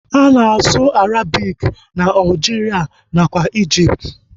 Ana asụ Arabik na Aljiria nakwa ijipt